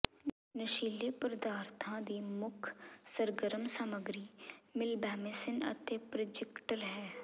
ਨਸ਼ੀਲੇ ਪਦਾਰਥਾਂ ਦੀ ਮੁੱਖ ਸਰਗਰਮ ਸਾਮਗਰੀ ਮਿਲਬੈਮੀਸਿਨ ਅਤੇ ਪ੍ਰਜਾਿਕਟਲ ਹੈ